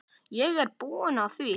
Ég er búinn að því!